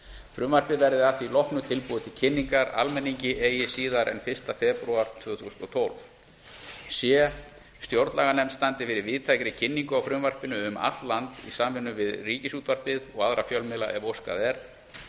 frumvarpið verði að því loknu tilbúið til kynningar almenningi eigi síðar en fyrsta febrúar tvö þúsund og tólf c stjórnlaganefnd standi fyrir víðtækri kynningu á frumvarpinu um allt land í samvinnu við ríkisútvarpið og aðra fjölmiðla ef óskað er og aðra fjölmiðla ef óskað er